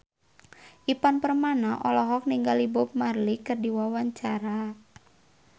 Ivan Permana olohok ningali Bob Marley keur diwawancara